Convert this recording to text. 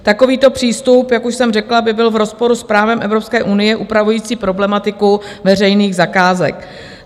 Takový přístup, jak už jsem řekla, by byl v rozporu s právem Evropské unie upravujícím problematiku veřejných zakázek.